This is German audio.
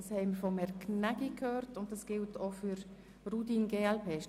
Ist es richtig, dass dies auch für die Planungserklärung Rudin/glp gilt?